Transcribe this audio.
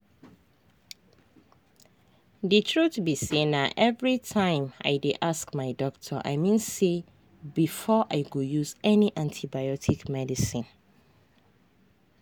the truth be sayna everytime i dey ask my doctor i mean say before i go use any antibiotic medicine.